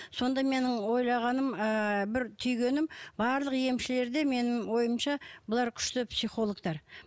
сонда менің ойлағаным ы бір түйгенім барлық емшілер де менің ойымша бұлар күшті психологтар